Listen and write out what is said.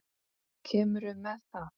Kemurðu með það!